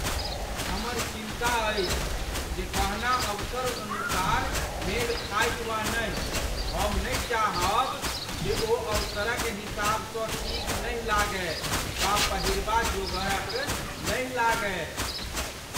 हमर चिन्ता अछि जे गहना अवसर अनुसार मेल खायत वा नहि। हम नहि चाहब जे ओ अवसरक हिसाबसँ ठीक नहि लागय वा पहिरबा जोगरक नहि लागय।